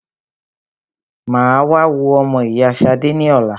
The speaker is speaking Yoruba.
Mà á wá wo ọmọ ìyá Ṣadé ní ọ̀la.